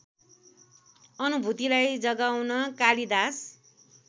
अनुभूतिलाई जगाउन कालिदास